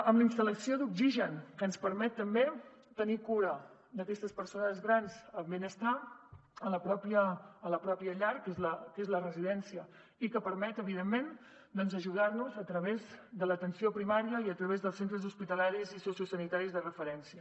amb la instal·lació d’oxigen que ens permet també tenir cura d’aquestes persones grans el benestar a la mateixa llar que és la residència i que permet evidentment doncs ajudar los a través de l’atenció primària i a través dels centres hospitalaris i sociosanitaris de referència